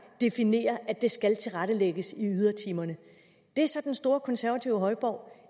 definerer at det skal tilrettelægges i ydertimerne det er så den store konservative højborg